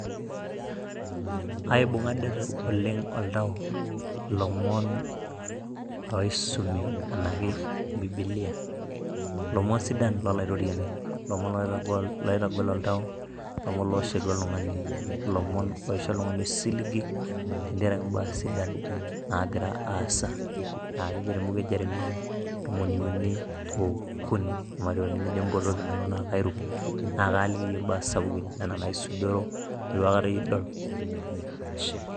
Aibung'a deet oleng oltau lomon oisumi anaake bibilia, lomon sidan lo olaitoriani, lomon loitagol oltau, lomon looshetu oltungani ,lomon oisho oltungani osiligi tengarake embaa sidan naagira aasa aakejo te mbuku e Jeremiah ntomoni o uni okuni nejo mpotooki nanu naa kairuk, naa kaaliki iye imbaa sapuki nena naisudoro netu aikata idol, ashe.